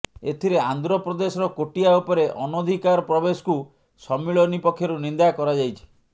ଏଥିରେ ଆନ୍ଧ୍ର ପ୍ରଦେଶର କୋଟିଆ ଉପରେ ଅନଧିକାର ପ୍ରବେଶକୁ ସମ୍ମିଳନୀ ପକ୍ଷରୁ ନିନ୍ଦା କରାଯାଇଛି